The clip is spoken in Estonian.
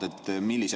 Aeg!